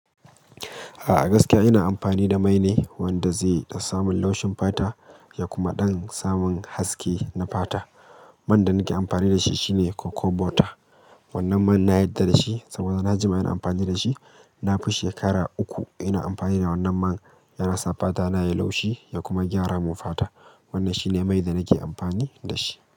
A'a gaskiya ina amfani da mai ne wanda zai da samun laushin fata ya kuma ɗan samun haske na fata. Man da nake amfani dashi shine Coco butter wannan man na yarda da shi, saboda na dade ina amfani dashi na fi shekara uku ina amfani da wannan man yana sa fata na yayi laushi ya kuma gyara mun fata. Wannan shine mai da nake amfani da shi.